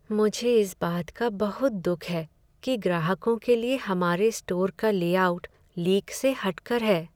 मुझे इस बात का बहुत दुःख है कि ग्राहकों के लिए हमारे स्टोर का लेआउट लीक से हट कर है।